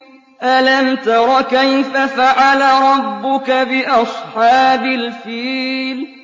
أَلَمْ تَرَ كَيْفَ فَعَلَ رَبُّكَ بِأَصْحَابِ الْفِيلِ